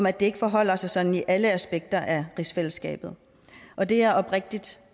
at det ikke forholder sig sådan i alle aspekter af rigsfællesskabet og det er jeg oprigtigt